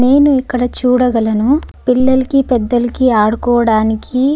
నేను ఇక్కడ చూడగలను పిల్లలకి పెద్దలకి ఆడుకోవడానికి --